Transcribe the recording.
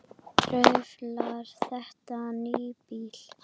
Truflar þetta nábýli?